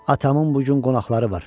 Atamın bu gün qonaqları var.